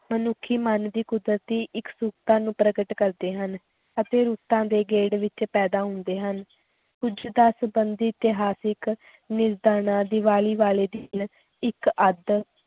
ਮਨੁੱਖੀ ਮਨ ਦੀ ਕੁਦਰਤੀ ਇੱਕਸੁਰਤਾ ਨੂੰ ਪ੍ਰਗਟ ਕਰਦੇ ਹਨ ਅਤੇ ਰੁੱਤਾਂ ਦੇ ਗੇੜ ਵਿੱਚ ਪੈਦਾ ਹੁੰਦੇ ਹਨ, ਕੁੱਝ ਦਾ ਸੰਬੰਧ ਇਤਿਹਾਸਕ ਦੀਵਾਲੀ ਵਾਲੇ ਦਿਨ ਇੱਕ ਅੱਧ